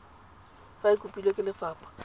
fa e kopilwe ke lefapha